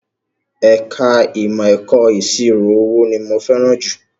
Ẹ̀ka ìmọ̀ ẹ̀kọ́ ìṣirò owó ni mo fẹ́ràn jù